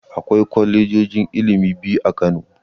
Akwai kwalejojin ilimi biyu a Kano.